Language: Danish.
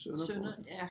Sønner får den